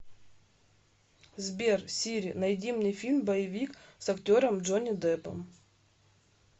сбер сири найди мне фильм боевик с актером джонни деппом